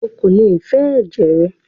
Ó kò lè fẹ ẹ̀jẹ̀ rẹ!